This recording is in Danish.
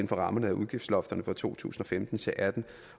for rammerne af udgiftslofterne for to tusind og femten til atten